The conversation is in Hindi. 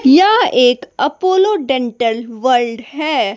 यह एक अपोलो डेंटल वर्ल्ड है।